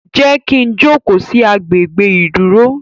Jé kí ń jókó sí àgbè gbé iduro?